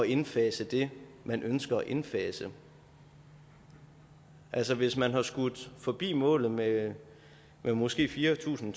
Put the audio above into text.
indfase det man ønsker at indfase altså hvis man har skudt forbi målet med måske fire tusind